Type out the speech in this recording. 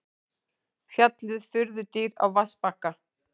Fjallið furðudýr á vatnsbakka.